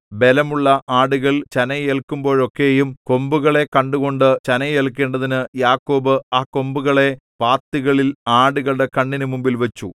ബലമുള്ള ആടുകൾ ചനയേല്ക്കുമ്പോഴൊക്കെയും കൊമ്പുകളെ കണ്ടുകൊണ്ട് ചനയേൽക്കേണ്ടതിനു യാക്കോബ് ആ കൊമ്പുകളെ പാത്തികളിൽ ആടുകളുടെ കണ്ണിന് മുമ്പിൽവച്ചു